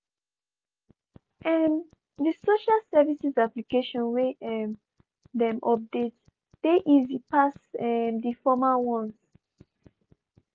um di social services application wey um dem update dey easy pass um di former ones.